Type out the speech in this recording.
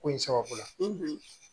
Ko in sababu la